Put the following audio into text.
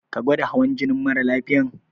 Ka gwada hawan jinin mara lafiyan?